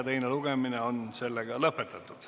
Teine lugemine on lõpetatud.